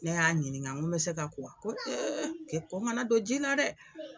Ne y'a ɲiniŋa ŋo n bɛ se ka ko wa, ko ko ŋana don ji la dɛ